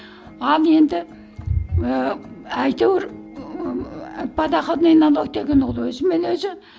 ал енді і әйтеуір ііі подоходный налог деген ол өзімен өзі